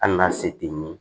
Hali n'a se tɛ ye